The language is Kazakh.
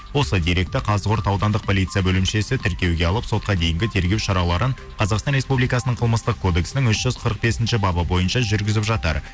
осы деректі қазығұрт аудандық полиция бөлімшесі тіркеуге алып сотқа дейінгі тергеу шараларын қазақстан республикасының қылмыстық кодексінің үш жүз қырық бесінші бабы бойыншы жүргізіп жатыр